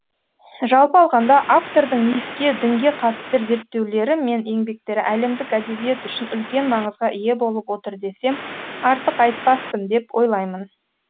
жалпы алғанда автордың мифке дінге қатысты зерттеулері мен еңбектері әлемдік әдебиет үшін үлкен маңызға ие болып отыр десем артық айтпаспын деп ойлаймын